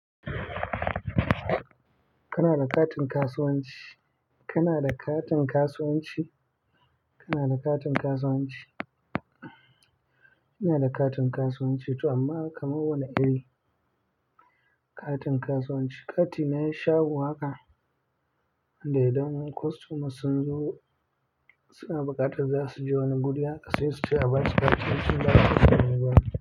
Kana da katin kasuwanci? Kana da katin kasuwanci? Kana da katin kasuwanci? Ina da katin kasuwanci tu amma kamar wani irin katin kasuwanci. Kati na shago haka da idan na kwastoma sun zo suna buƙatar zasu je wani guri haka sai suce a basu kati in sun dawo.